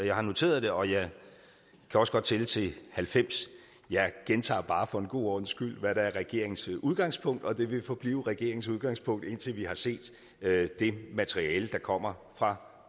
jeg har noteret det og jeg kan også godt tælle til halvfems jeg gentager bare for en god ordens skyld hvad der er regeringens udgangspunkt og det vil forblive regeringens udgangspunkt indtil vi har set det materiale der kommer fra